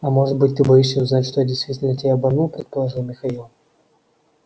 а может быть ты боишься узнать что я действительно тебя обманул предположил михаил